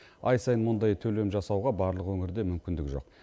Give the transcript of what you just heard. ай сайын мұндай төлем жасауға барлық өңірде мүмкіндік жоқ